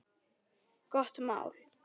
Gott mál.